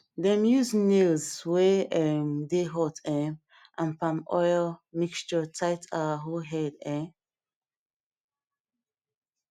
dem use nails wey um dey hot um and palm oil mixture tight our hoe head um